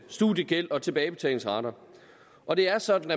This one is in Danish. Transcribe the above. studiegæld og tilbagebetalingsrater og det er sådan